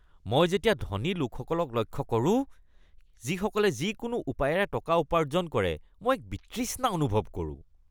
যেতিয়া মই ধনী লোকসকলক লক্ষ্য কৰোঁ যিসকলে যিকোনো উপায়েৰে টকা উপাৰ্জন কৰে, মই এক বিতৃষ্ণা অনুভৱ কৰোঁ।